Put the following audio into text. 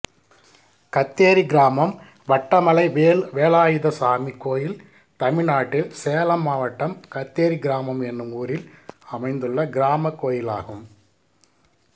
கத்தேரி கிராமம் வட்டமலை வேலாயுதசாமி கோயில் தமிழ்நாட்டில் சேலம் மாவட்டம் கத்தேரி கிராமம் என்னும் ஊரில் அமைந்துள்ள கிராமக் கோயிலாகும்